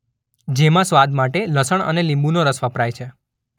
જેમાં સ્વાદ માટે લસણ અને લીંબુનો રસ વપરાય છે.